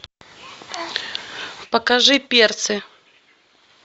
покажи перцы